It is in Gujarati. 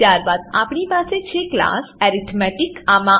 ત્યારબાદ આપણી પાસે છે ક્લાસ એરિથમેટિક એર્થમેટીક